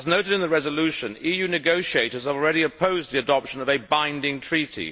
As noted in the resolution, EU negotiators have already opposed the adoption of a binding treaty.